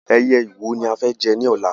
Ẹyẹ ìwò ni a fẹ́ jẹ ní ọ̀la